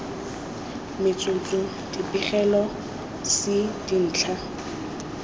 metsotso b dipegelo c dintlha